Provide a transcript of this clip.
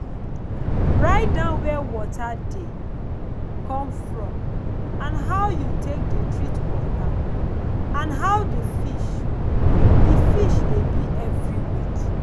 write down where water dey come from how you take de treat water and how the fish the fish dey be every week